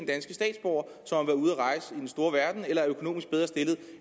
end store verden eller er økonomisk bedre stillet